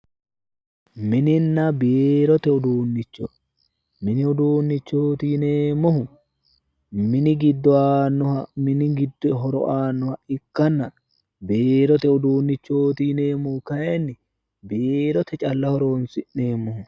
Mininna biirote uduunnicho. Mininna biirote uduunnichooti yineemmohu minu giddo horo aannoha ikkanna biiro uduunnichooti yneemmohu kayinni biirote calla horonsi'neemmoho.